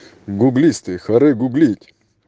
гуглисты харе гуглить